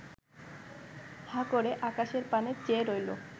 হাঁ করে আকাশের পানে চেয়ে রইল